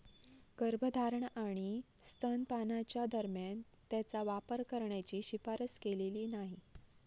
गर्भधारणा आणि स्तनपानाच्या दरम्यान त्याचा वापर करण्याची शिफारस केलेली नाही.